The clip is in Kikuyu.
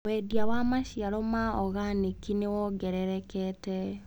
Wendia wa maciaro ma organĩki nĩwongererekete.